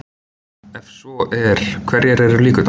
Ef svo er hverjar eru líkurnar?